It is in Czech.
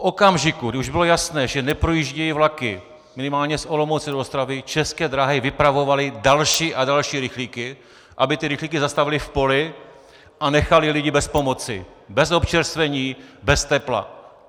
V okamžiku, kdy už bylo jasné, že neprojíždějí vlaky minimálně z Olomouce do Ostravy, České dráhy vypravovaly další a další rychlíky, aby ty rychlíky zastavily, v poli a nechaly lidi bez pomoci, bez občerstvení, bez tepla.